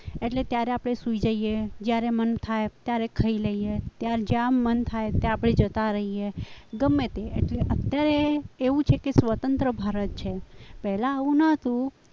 એટલે ત્યારે આપણે સુઈ જઈએ જ્યારે મન થાય ત્યારે ખાઈ લઈએ જેમ મન થાય ત્યાં આપણે જતા રહીએ ગમે તે એટલે અત્યારે એવું છે કે સ્વતંત્ર ભારત છે પહેલા આવું ન હતું